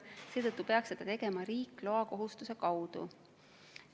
Seetõttu peaks seda tegema riik loakohustuse kaudu.